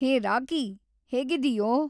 ಹೇ Rocky. ಹೇಗಿದ್ದೀಯೋ?